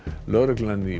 lögreglan í